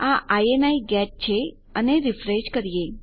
આ ઇની ગેટ છે અને રીફ્રેશ કરીએ